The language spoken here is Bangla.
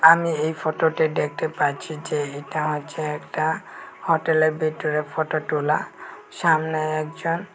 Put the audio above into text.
আমি এই ফটোটে ডেকটে পাচ্চি যে এটা হইচে একটা হোটেলের বিটরে ফটো টুলা সামনে একজন--